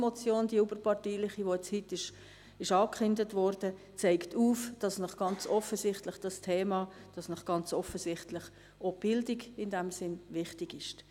Auch die überparteiliche Finanzmotion (), die heute angekündigt worden ist, zeigt, dass Ihnen ganz offensichtlich das Thema und ganz offensichtlich auch die Bildung in diesem Sinn wichtig sind.